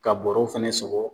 Ka bɔrɛ fana sɔgɔ